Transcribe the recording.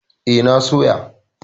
E, na soya.